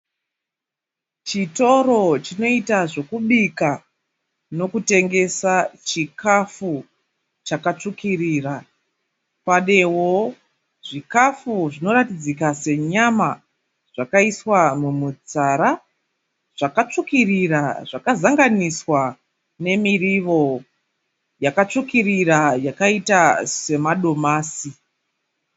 Chitoro chinoita zvekubika nokutengesa zvikafu chakatsvukirira Panewo zvikafu zvinoratidzika senyama zvakaiswa mumitsara zvakatsvukirira zvakazanganiswa nemurivo yakatsvukirira yakaita semadomasi.